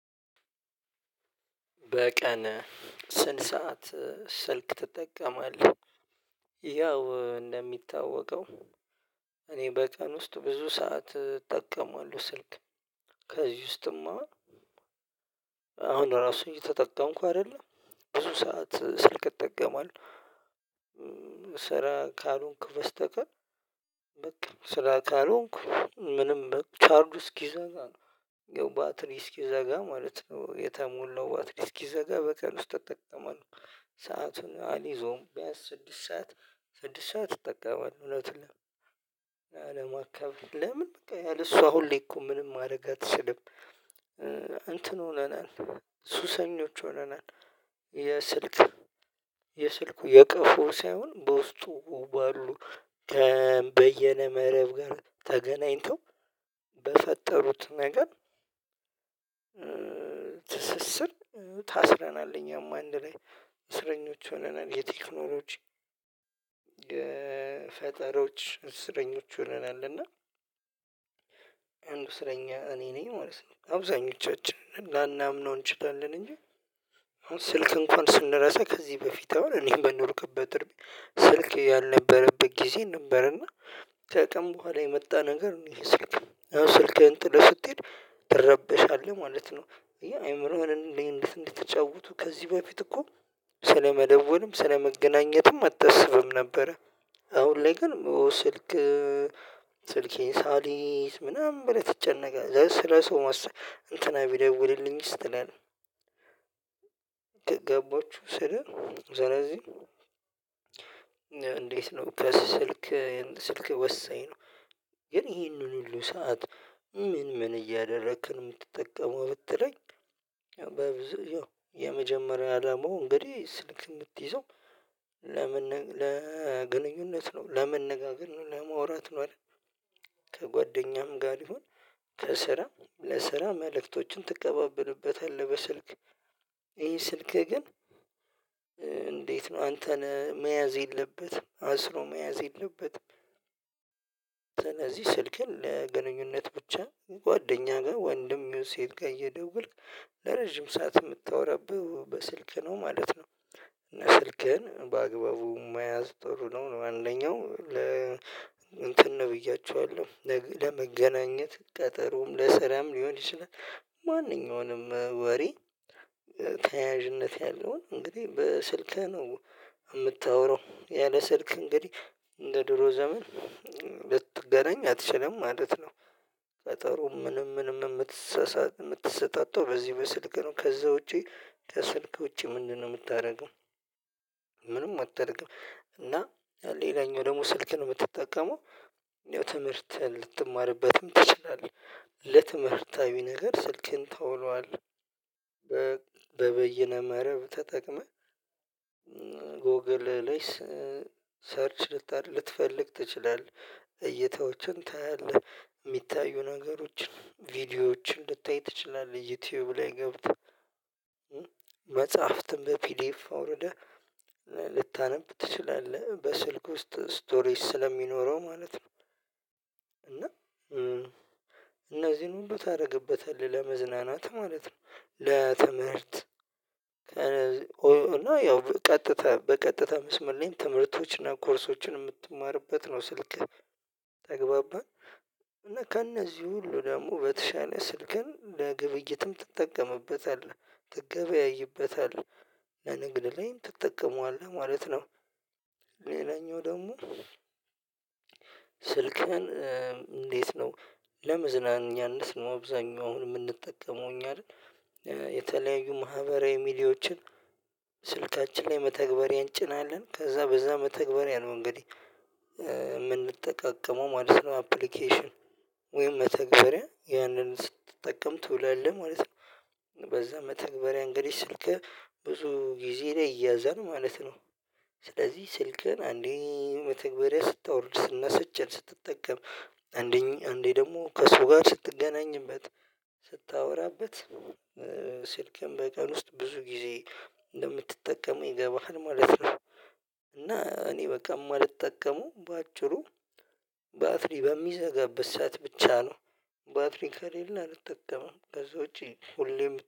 በቀን ስንት ሰዓት ስልክ ትጠቀማለህ? ያው እንደሚታወቀው እኔ በቀን ውስጥ ብዙ ሰዓት እጠቀማለሁ ስልክ። ከዚህ ውስጥማ አሁን ራሱ እየተጠቀምኩ አይደለ ብዙ ሰዓት ስልክ እጠቀማለሁ። ስራ ካልሆንኩ በስተቀር በቃ ስራ ካልሆንኩ ምንም በቃ ቻርዱ እስኪዘጋ ነው ያው ባትሪ እስኪዘጋ ማለት ነው። የተሞላው ባትሪ እስኪዘጋ በቀን ውስጥ ተጠቀማል። ሰአቱን አልይዘውም ቢያንስ ስድስት ሰዓት ስድስት ሰዓት እጠቀማለሁ እውነት ነው። ላለማካበድ ለምን በቃ ያለ እሱ አሁን ላይ እኮ ምንም ማድረግ አትችልም እንትን ሆነናል። ሱሰኞች ሆነናል። የስልክ የስልኩ የቀፎ ሳይሆን በውስጡ ባሉ በየነ መረብ ጋር ተገናኝተው በፈጠሩት ነገር። ትስስር ታስረናለ እኛም አንድ ላይ እስረኞች ሆነናል። የቴክኖሎጂ ፈጠሮች እስረኞች ሆነናል። እና አንዱ እስረኛ እኔ ነኝ ማለትነው። አብዛኞቻችን ላናምነው እንችላለን እንጂ። አሁን ስልክ እንኳን ስንረሳ ከዚህ በፊት አሁን እኔም በማልኖርበት ስልክ ያልነበረበት ጊዜ ነበርና። ከቀን በኋላ የመጣ ነገር ነው። ይሄ ስልክ አሁን ስልክህን ጥለህ ስትሄድ ትረበሻለህ ማለት ነው። እያልን አይምሮህን እንዴ እንድትጫወቱ ከዚህ በፊት እኮ ስለመደወልም ስለመገናኘትም አትስብም ነበረ። አሁን ላይ ግን ሞስልክ ስልኬን ሳልይዝ ምናምን ብለህ ትጨነቃለህ ስለ ሰው መስራት እንትና ቢደውልልኝስ ትላለህ። ገባችሁ ስለ ስለዚህ። እንዴት ነው ከስ ስልክ ስልክ ወሳኝ ነው። ግን ይሄንን ሁሉ ሰዓት ምን ምን እያደረክ ነው የምትጠቀመው ብትለኝ። በብዙ የመጀመሪያ ደግሞ እንግዲህ ስልክ የምትይዘው ለምን ለግንኙነት ነው ለመነጋገር ነው ለማውራት ነው አይደል? ከጓደኛም ጋር ይሁን ከስራ ለስራ መልእክቶችን ትቀባበልበታለህ በስልክ። ይሄ ስልክ ግን ኧ ነው አንተን መያዝ የለበትም አስሮ መያዝ የለበትም። ስለዚህ ስልክህን ለግንኙነት ብቻ ጓደኛ ጋር ወንድም ይሁንሴት ጋር እየደወልክ ለረጅም ሰዓት የምታወራብህ በስልክ ነው ማለት ነው። እና ስልክህን በአግባቡ መያዝ ጥሩ ነው። አንደኛው ለ ስለዚህ ስልክህን ለግንኙነት ብቻ ጓደኛ ጋር ወንድም ይሁንሴት ጋር እየደወልክ ለረጅም ሰዓት የምታወራብህ በስልክ ነው ማለት ነው እና ስልክህን በአግባቡ መያዝ ጥሩ ነው አንደኛው ለ ማንኛውንም ወሬ። ተያያዥነት ያለውን እንግዲህ በስልክህ ነው። እምታወራው ያለ ስልክ እንግዲህ እንደ ድሮ ዘመን ልትገናኝ አትችልም ማለት ነው። ቀጠሮ ምንም ምንም የምትሰጣጣው በዚህ በስልክ ነው ከዛ ውጪ ከስልክ ውጪ ምንድነው የምታደርገው? ምንም አታደርግም እና። ሌላኛው ደግሞ ስልክህን የምትጠቀመው ትምህርትህን ልትማርበትም ትችላለህ ለትምህርታዊ ነገር ስልክን ተውሏል። በበይነ መረብ ተጠቅመህ ጎግል ላይ ኧ ሰርች ልትፈልግ ትችላለህ እይታዎችን ታያለህ የሚታዩ ነገሮችን ቪዲዮዎችን ልታይ ትችላለህ ዩቲዩብ ላይ ገብተህ መጽሐፍትን በፒዲኤፍ አውርደህ። ልታነብ ትችላለህ በስልክ ውስጥ ስቶሪጅ ስለሚኖረው ማለት ነው። እና እ እነዚህን ሁሉ ታደርግበታለህ ለመዝናናት ማለት ነው። ለትምህርት እና ያው ቀጥታ በቀጥታ መስመር ላይ ትምህርቶችና ኮርሶችን የምትማርበት ነው ስልክህ ተግባባን። እና ከእነዚህ ሁሉ ደግሞ በተሻለ ስልክን ለግብይትም ትጠቀምበታለህ ትገበያይበታለህ ለንግድ ላይ ትጠቀመዋለህ ማለት ነው። ሌላኛው ደግሞ። ስልክህን እንዴት እ ነው? ለመዝናኛ እንድስመው አብዛኛውን አሁን የምንጠቀመው እኛ እ የተለያዩ ማህበራዊ ሚዲያዎችን። ስልካችን ላይ መተግበሪያ እንጭናለን ከዛ በዛ መተግበሪያነው እንግዲህ የምንጠቃቀመው ማለት ነው አፕሊኬሽን ወይም መተግበሪያ ያንን ስትጠቀም ትውላለህ ማለት ነው። በዛ መተግበሪያ እንግዲህ ስልክህ ብዙ ጊዜ ላይ ይያዛል ማለት ነው። ስለዚህ ስልክህን ለግንኙነት ብቻ ጓደኛ ጋር ወንድም የፈይሁን ሴት ጋር እየደወልክ ለረጅም ሰዓት የምታወራበት በስልክ ነው ማለት ነው። እና ስልክህን በአግባቡ መያዝ ጥሩ ነው። አንደኛው ለ ስልክህን በቀን ውስጥ ብዙ ጊዜ እንደምትጠቀመው ይገባሀል ማለት ነው። እና እኔ በቃ እማልጠቀመው ባጭሩ ባትሪ በሚዘጋበት ብቻ ነው። ከዛውጭ ሁሌም